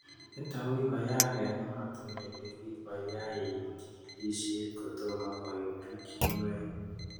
Nitok ko kikakoyaak eng'ematinwek che kikakoyai chikilishet kotomo koit pichinwek